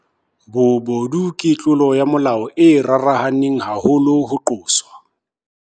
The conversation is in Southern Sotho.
Bobodu ke tlolo ya molao e rarahaneng haholo ho qoswa.